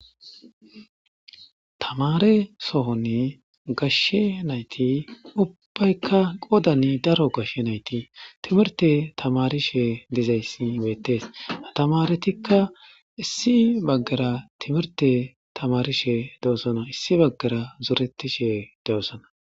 Tamare sohonni gashshe nayti ubbaykka qodani daro gashshe nayti timirte tamarishe dizayssi beettees atamaretikka issi baggara timirte tamarishe dewosana issi baggara zoretishe dewosana